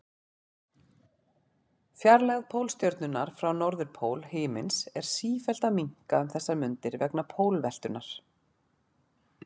Fjarlægð Pólstjörnunnar frá norðurpól himins er sífellt að minnka um þessar mundir vegna pólveltunnar.